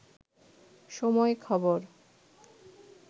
সময় খবর